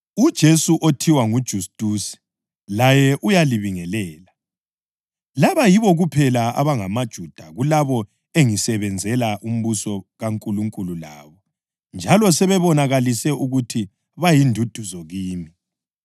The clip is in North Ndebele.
UJesu othiwa nguJustusi laye uyalibingelela. Laba yibo kuphela abangamaJuda kulabo engisebenzela umbuso kaNkulunkulu labo njalo sebebonakalise ukuthi bayinduduzo kimi.